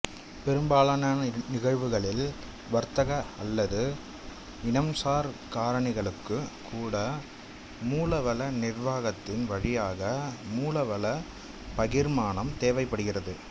பெரும்பாலான நிகழ்வுகளில் வர்த்தக அல்லது இனம்சார் காரணிகளுக்கும் கூட மூலவள நிர்வாகத்தின் வழியாக மூலவள பகிர்மானம் தேவைப்படுகிறது